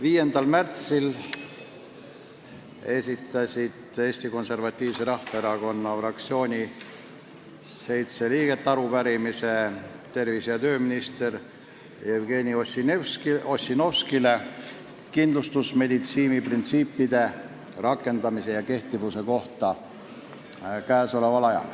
5. märtsil esitasid seitse Eesti Konservatiivse Rahvaerakonna fraktsiooni liiget arupärimise tervise- ja tööminister Jevgeni Ossinovskile kindlustusmeditsiini printsiipide rakendamise ja kehtivuse kohta.